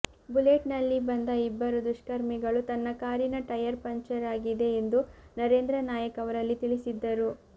bullet ನಲ್ಲಿ ಬಂದ ಇಬ್ಬರು ದುಷ್ಕರ್ಮಿಗಳು ತನ್ನ ಕಾರಿನ ಟಯರ್ ಪಂಚರ್ ಆಗಿದೆ ಎಂದು ನರೇಂದ್ರ ನಾಯಕ್ ಅವರಲ್ಲಿ ತಿಳಿಸಿದ್ದರು